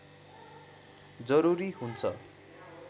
जरुरी हुन्छ